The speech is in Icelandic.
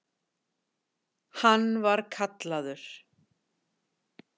Hann var kallaður